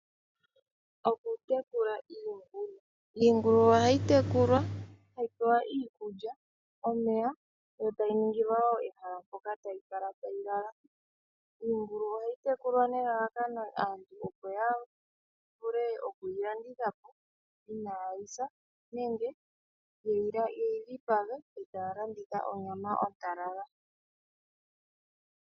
Okutekula iingulu Iingulu ohayi tekulwa, hayi pewa iikulya, omeya e tayi ningilwa wo ehala mpoka tayi kala tayi lala. Iingulu ohayi tekulwa nelalakano, aantu opo ya vule oku yi landitha po inaa yi sa nenge yeyi dhipage e taya landitha onyama ontalala.